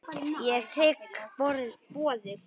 Ég þigg boðið.